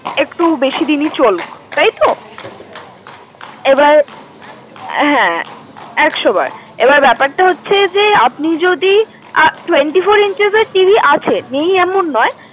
একটু বেশি দিনই চলুক তাইতো? এবার, হ্যাঁ। একশোবার। এবার বেপার টা হচ্ছে যে আপনি যদি, twenty-four inch এর TV আছে, নেই এমন নয়।